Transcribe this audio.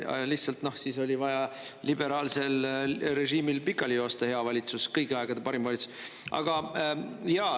Lihtsalt siis oli vaja liberaalsel režiimil pikali joosta hea valitsus, kõigi aegade parim valitsus.